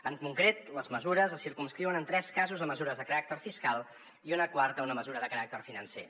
en concret les mesures es circumscriuen en tres casos a mesures de caràcter fiscal i una quarta una mesura de caràcter financer